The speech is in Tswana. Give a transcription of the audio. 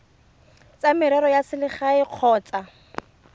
tsa merero ya selegae kgotsa